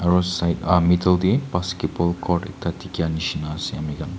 aru side ah middle teh basketball court ekta dikhia nishina ase amikhan.